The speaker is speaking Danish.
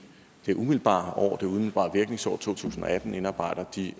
det umiddelbare virkningsår to tusind og atten indarbejder de